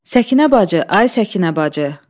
Səkinə bacı, ay Səkinə bacı!